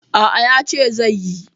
A'a, yace zai yi.